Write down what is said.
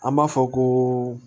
An b'a fɔ ko